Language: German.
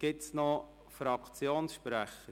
Gibt es noch weitere Fraktionssprecher?